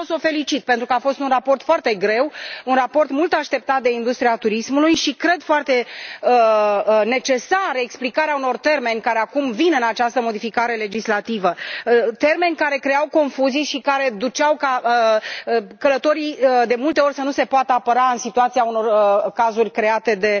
Eu vreau să o felicit, pentru că a fost un raport foarte greu, un raport mult așteptat de industria turismului și cred că este foarte necesară explicarea unor termeni care acum apar în această modificare legislativă, termeni care creau confuzii și care făceau ca, de multe ori, călătorii să nu se poată apăra în situația unor cazuri create de